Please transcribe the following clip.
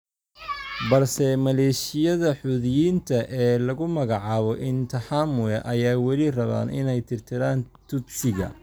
balse maleeshiyada Xuuthiyiinta ee lagu magacaabo Interhamwe ayaa wali rabeen inay tirtiraan Tutsiga.